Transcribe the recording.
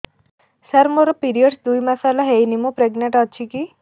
ସାର ମୋର ପିରୀଅଡ଼ସ ଦୁଇ ମାସ ହେଲା ହେଇନି ମୁ ପ୍ରେଗନାଂଟ ଅଛି କି